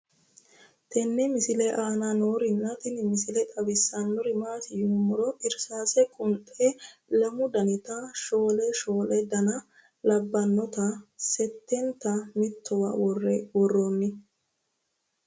tenne misile aana noorina tini misile xawissannori maati yinummoro irisaase qunxxe lamu dannitta shoole shoole danna labbannotta setentta mittowa woroonni